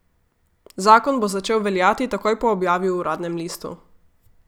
Zakon bo začel veljati takoj po objavi v uradnem listu.